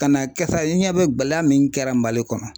Ka n'a kɛ sa i ɲɛ bɛ gɛlɛya min kɛra Mali kɔnɔ.